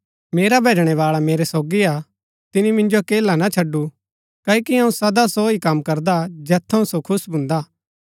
मेरा भैजणैबाळा मेरै सोगी हा तिनी मिन्जो अकेला ना छडु क्ओकि अऊँ सदा सो ही कम करदा जैत थऊँ सो खुश भून्दा हा